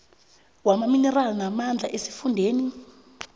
wamaminerali namandla esifundeni